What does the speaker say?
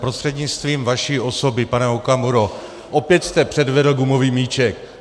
Prostřednictvím vaší osoby, pane Okamuro, opět jste předvedl gumový míček.